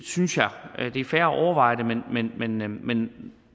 synes jeg det er fair at overveje det men